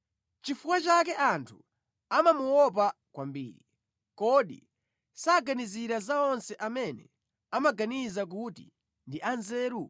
Nʼchifukwa chake anthu amamuopa kwambiri, kodi saganizira za onse amene amaganiza kuti ndi anzeru?”